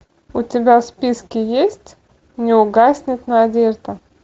у тебя в списке есть не угаснет надежда